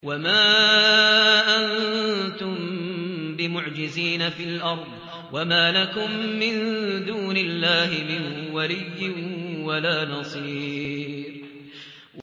وَمَا أَنتُم بِمُعْجِزِينَ فِي الْأَرْضِ ۖ وَمَا لَكُم مِّن دُونِ اللَّهِ مِن وَلِيٍّ وَلَا نَصِيرٍ